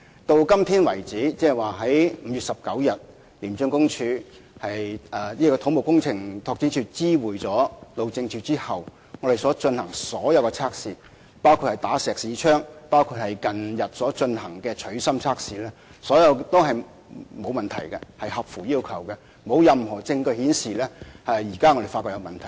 到今天為止，即自從土木工程拓展署在5月19日知會路政署後，我們進行的所有測試，包括"打石屎槍"測試和近日進行的"取芯"測試，結果都顯示沒有問題，完全符合要求，也沒有任何證據顯示出現問題。